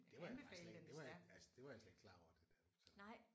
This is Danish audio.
Det var jeg faktisk slet det var jeg altså det var jeg slet ikke klar over det der for eksempel